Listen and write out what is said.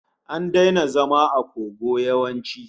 An daina zama a kogo yawanci